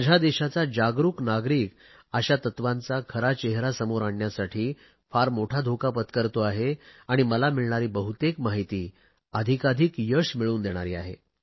माझ्या देशाचा जागरुक नागरिक अशा तत्वांचा खरा चेहरा समोर आणण्यासाठी फार मोठा धोका पत्करतो आहे आणि मला मिळणारी बहुतेक माहिती अधिकाधिक यश मिळवून देणारी आहे